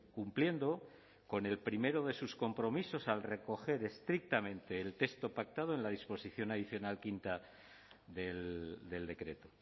cumpliendo con el primero de sus compromisos al recoger estrictamente el texto pactado en la disposición adicional quinto del decreto